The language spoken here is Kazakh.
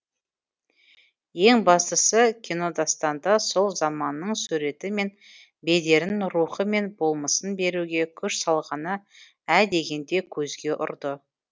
еңбастысы кинодастанда сол заманның суреті мен бедерін рухы мен болмысын беруге күш салғаны ә дегенде көзге ұрды